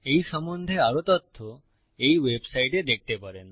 এই সম্বন্ধে আরও তথ্য এই ওয়েবসাইটে দেখতে পারেন